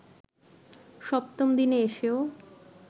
সপ্তম দিনে এসেও